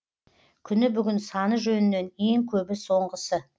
күні бүгін саны жөнінен ең көбі соңғысы